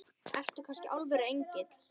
Ertu kannski alvöru engill?